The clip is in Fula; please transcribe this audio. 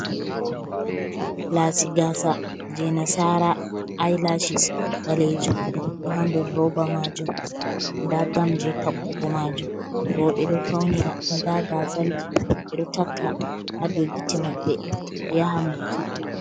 Lasi gasa jei nasara. Ay lashis ɓalejum ɗo ha nder roba majum. Nda gam je takkugo majum. Roɓe ɗo faunira nda gazal ji ɓe ɗo takka ha dau giti mabbe ɓe yahan buki.